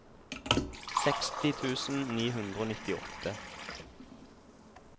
seksti tusen ni hundre og nittiåtte